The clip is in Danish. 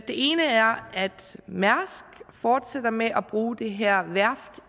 ene er at mærsk fortsætter med at bruge det her værft